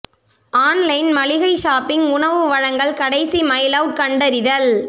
online மளிகை shopping உணவு வழங்கல் கடைசி மைல் அவுட் கண்டறிதல்